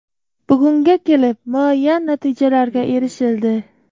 Bugunga kelib muayyan natijalarga erishildi.